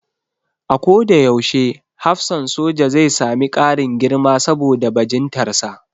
A ko da yaushe hafsan soja zai sami ƙarin girma saboda bajintarsa